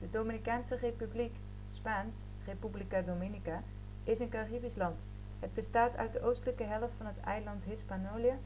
de dominicaanse republiek spaans: república dominica is een caribisch land. het bestaat uit de oostelijke helft van het eiland hispaniola.